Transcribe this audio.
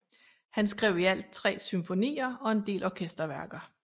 Han skrev i alt tre symfonier og en del orkesterværker